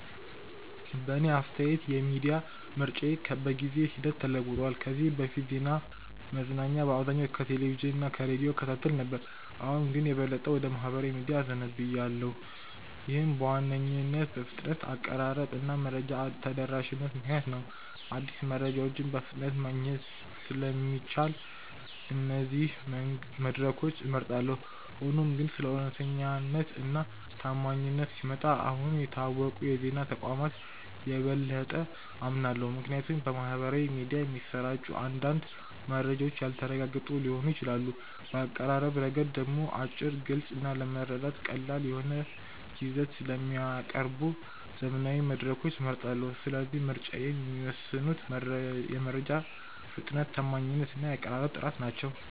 በእኔ አስተያየት የሚዲያ ምርጫዬ በጊዜ ሂደት ተለውጧል። ከዚህ በፊት ዜናና መዝናኛ በአብዛኛው ከቴሌቪዥን እና ከሬዲዮ እከታተል ነበር፣ አሁን ግን የበለጠ ወደ ማኅበራዊ ሚዲያዎች እዘነብላለሁ። ይህም በዋነኝነት በፍጥነት፣ በአቀራረብ እና በመረጃ ተደራሽነት ምክንያት ነው። አዲስ መረጃዎችን በፍጥነት ማግኘት ስለሚቻል እነዚህን መድረኮች እመርጣለሁ። ሆኖም ግን ስለ እውነተኛነት እና ታማኝነት ሲመጣ አሁንም የታወቁ የዜና ተቋማትን የበለጠ አምናለሁ፣ ምክንያቱም በማኅበራዊ ሚዲያ የሚሰራጩ አንዳንድ መረጃዎች ያልተረጋገጡ ሊሆኑ ይችላሉ። በአቀራረብ ረገድ ደግሞ አጭር፣ ግልጽ እና ለመረዳት ቀላል የሆነ ይዘት ስለሚያቀርቡ ዘመናዊ መድረኮችን እመርጣለሁ። ስለዚህ ምርጫዬን የሚወስኑት የመረጃ ፍጥነት፣ ታማኝነት እና የአቀራረብ ጥራት ናቸው።